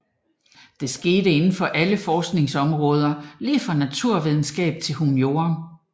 Det sker inden for alle forskningsområder lige fra naturvidenskab til humaniora